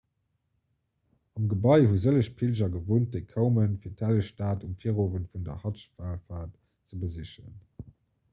am gebai hu sëlleg pilger gewunnt déi koumen fir d'helleg stad um virowend vun der hadsch-wallfaart ze besichen